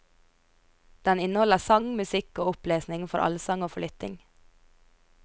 Den inneholder sang, musikk og opplesning for allsang og for lytting.